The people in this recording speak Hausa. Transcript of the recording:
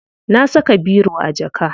Na saka biro a jaka.